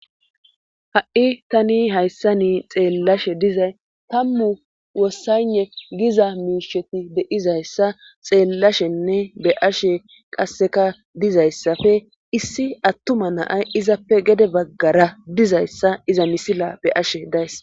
Ha7i tani hayssa ni xeellashe dizay tammu wossane giza miisheti beizayssa xeellashenne be ashe qasseka dizayssafe issi attuma naay izappe gede baggara dizayssa iza misila be ashe days.